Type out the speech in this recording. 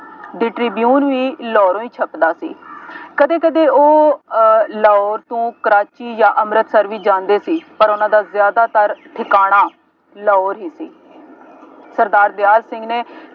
The Tribune ਵੀ ਲਾਹੌਰੋ ਹੀ ਛਪਦਾ ਸੀ। ਕਦੇ ਕਦੇ ਉਹ ਅਹ ਲਾਹੌਰ ਤੋਂ ਕਰਾਚੀ ਜਾਂ ਅੰਂਮ੍ਰਿਤਸਰ ਵੀ ਜਾਂਦੇ ਸੀ, ਪਰ ਉਹਨਾ ਦਾ ਜ਼ਿਆਦਾਤਰ ਠਿਕਾਣਾ ਲਾਹੌਰ ਹੀ ਸੀ ਸਰਦਾਰ ਦਿਆਲ ਸਿੰਘ ਨੇ